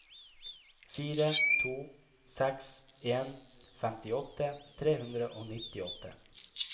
fire to seks en femtiåtte tre hundre og nittiåtte